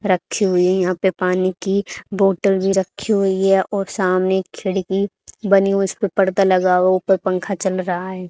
रखी हुई है यहां पे पानी की बॉटल भी रखी हुई है और सामने खिड़की बनी उस पे पर्दा लगा और ऊपर पंखा चल रहा है।